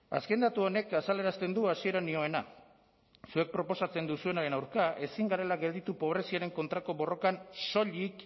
azken datu honek azalerazten du hasieran nioena zuek proposatzen duzuenaren aurka ezin garela gelditu pobreziaren kontrako borrokan soilik